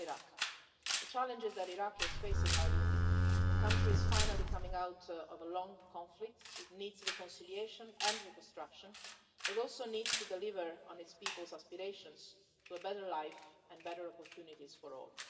First on Iraq. The challenges that Iraq is facing are unique. The country is finally coming out of a long conflict, it needs reconciliation and reconstruction. It also needs to deliver on its people's aspirations to a better life and better opportunities for all.